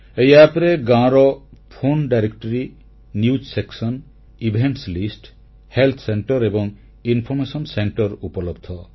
ଏହି ଆପ୍ ରେ ଗାଁର ଫୋନ ଡିରେକ୍ଟୋରି ନିଉଜ ସେକ୍ସନ କାର୍ଯ୍ୟକ୍ରମ ତାଲିକା ସ୍ୱାସ୍ଥ୍ୟ କେନ୍ଦ୍ର ଏବଂ ସୂଚନା କେନ୍ଦ୍ର ଉପଲବ୍ଧ